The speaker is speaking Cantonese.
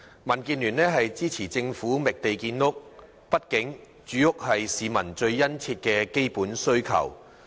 民主建港協進聯盟支持政府覓地建屋，畢竟住屋是市民最殷切的基本需求。